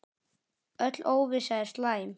Öll óvissa er slæm.